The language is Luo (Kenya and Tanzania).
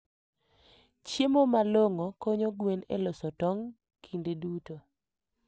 Chiemo malong'o konyo gwen e loso tong' kinde duto.